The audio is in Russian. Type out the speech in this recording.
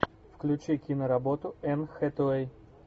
включи киноработу энн хэтэуэй